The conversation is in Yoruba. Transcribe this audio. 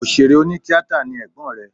Òṣèré onítíatà ni ẹ̀gbọ́n rẹ̀